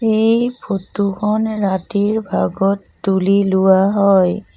এই ফটো খন ৰাতিৰ ভাগত তুলি লোৱা হয়।